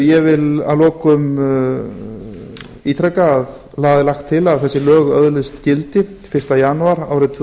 mínútur ég vil að lokum ítreka að það er lagt til að þessi lög öðlast gildi fyrsta janúar tvö